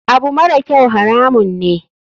Abu marakyau haramun ne.